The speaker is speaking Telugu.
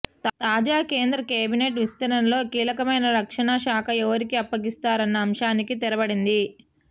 తాజా కేంద్ర కేబినెట్ విస్తరణలో కీలకమైన రక్షణశాఖ ఎవరికి అప్పగిస్తారన్న అంశానికి తెరపడింది